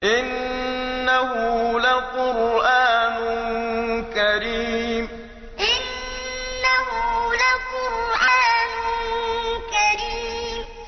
إِنَّهُ لَقُرْآنٌ كَرِيمٌ إِنَّهُ لَقُرْآنٌ كَرِيمٌ